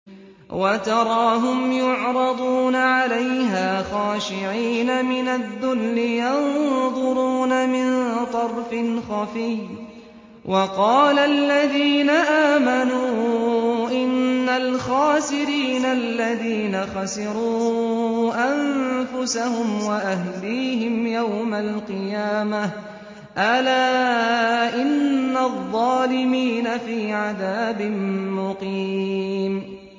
وَتَرَاهُمْ يُعْرَضُونَ عَلَيْهَا خَاشِعِينَ مِنَ الذُّلِّ يَنظُرُونَ مِن طَرْفٍ خَفِيٍّ ۗ وَقَالَ الَّذِينَ آمَنُوا إِنَّ الْخَاسِرِينَ الَّذِينَ خَسِرُوا أَنفُسَهُمْ وَأَهْلِيهِمْ يَوْمَ الْقِيَامَةِ ۗ أَلَا إِنَّ الظَّالِمِينَ فِي عَذَابٍ مُّقِيمٍ